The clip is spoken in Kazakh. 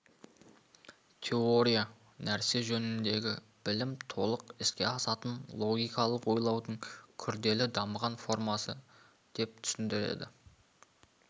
теория нәрсе жөніндегі білім толық іске асатын логикалық ойлаудың күрделі дамыған формасы деп түсіндіреді